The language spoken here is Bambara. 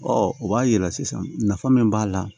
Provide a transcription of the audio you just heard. o b'a yira sisan nafa min b'a la